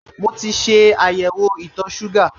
Mo ti ṣe àyẹ̀wò itọ̀ọ ṣúgà